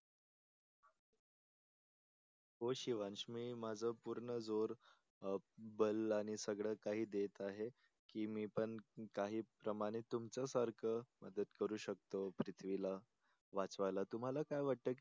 हो शिवांश मी माझ सर्व जोर बल आणि सगळं काही देत आहे की मी पण काही प्रमाणे तुमचं सारखं मदत करु शकतो पृथ्वीला. वाचवायला तुम्हाला काय वाटत की